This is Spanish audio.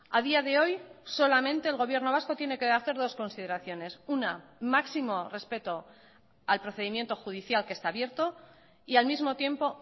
a día de hoy solamente el gobierno vasco tiene que hacer dos consideraciones una máximo respeto al procedimiento judicial que está abierto y al mismo tiempo